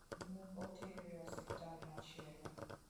Ne otere e osiptal machielo.